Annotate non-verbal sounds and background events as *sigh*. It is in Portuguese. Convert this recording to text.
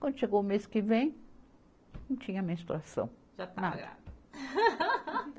Quando chegou o mês que vem, não tinha menstruação, nada. Já estava grávida. *laughs*